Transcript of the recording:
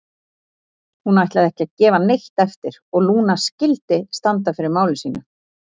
Hún ætlaði ekki að gefa neitt eftir og Lúna skyldi standa fyrir máli sínu.